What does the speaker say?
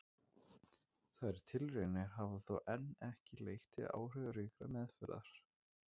Þær tilraunir hafa þó enn ekki leitt til áhrifaríkrar meðferðar.